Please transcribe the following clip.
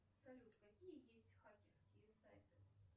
салют какие есть хакерские сайты